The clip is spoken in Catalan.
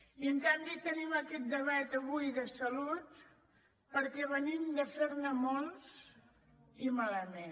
i en canvi tenim aquest debat avui de salut perquè venim de fer ne molts i malament